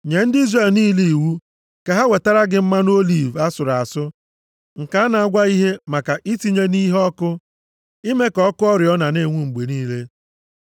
“Nye ndị Izrel niile iwu ka ha wetara gị mmanụ oliv asụrụ asụ nke a na-agwaghị ihe maka itinye nʼiheọkụ ime ka ọkụ oriọna na-enwu mgbe niile.